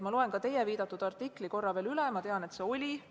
Ma loen teie viidatud artikli veel korra üle, ma tean, et selline artikkel ilmus.